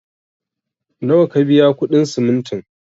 Nawa ka biya kuɗin simintin?